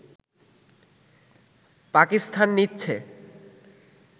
পাকিস্তান নিচ্ছে